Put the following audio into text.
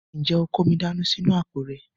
Ǹjẹ́ o kó omi dání sínú àpò rẹ?